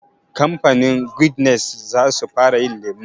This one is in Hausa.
Kamfanin Guinness za su fara yin lemu